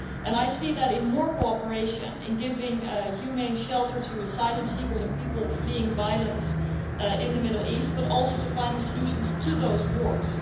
I see that in more cooperation, in giving humane shelter to asylum seekers and people fleeing violence in the Middle East, but also in finding solutions to those wars.